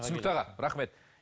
түсінікті аға рахмет